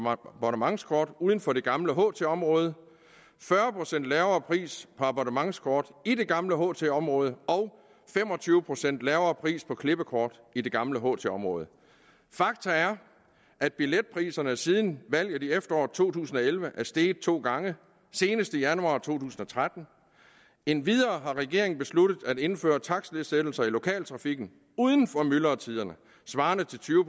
abonnementskort uden for det gamle ht område fyrre procent lavere pris på abonnementskort i det gamle ht område og fem og tyve procent lavere pris på klippekort i det gamle ht område fakta er at billetpriserne siden valget i efteråret to tusind og elleve er steget to gange senest i januar to tusind og tretten endvidere har regeringen besluttet at indføre takstnedsættelser i lokaltrafikken uden for myldretiderne svarende til tyve